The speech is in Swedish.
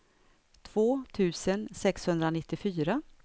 två tusen sexhundranittiofyra